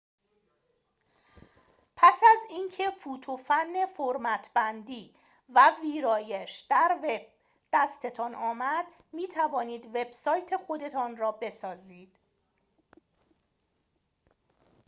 پس از اینکه فوت و فن فرمت‌بندی و ویرایش در وب دستتان آمد می‌توانید وبسایت خودتان را بسازید